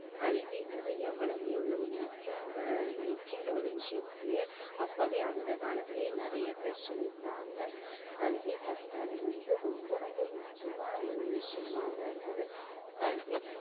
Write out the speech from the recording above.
கல்வின்றது எவ்வளவு எவ்வளவு முக்கியம்ன்ற முக்கியம்ன்ற ஒரு விஷயத்தையே அப்பவே அந்த காலத்திலேயே நிறைய பேர் சொல்லியிருக்காங்க கல்வி கற்றது வந்து ரொம்ப ரொம்ப முக்கியமான ஒரு விஷயமாதான் இருக்குது கல்வி